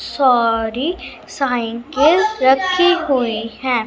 सारी साइकिल रखी हुई हैं।